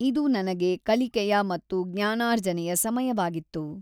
ಇದು ನನಗೆ ಕಲಿಕೆಯ ಮತ್ತು ಜ್ಞಾನಾರ್ಜನೆಯ ಸಮಯವಾಗಿತ್ತು.